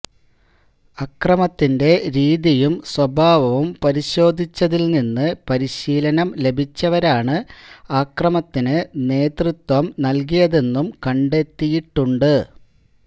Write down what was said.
അക്രമത്തിന്റെ രീതിയും സ്വഭാവവും പരിശോധിച്ചതില് നിന്ന് പരിശീലനം ലഭിച്ചവരാണ് അക്രമത്തിന് നേതൃത്വം നല്കിയതെന്നും കണ്ടെത്തിയിട്ടുണ്ട്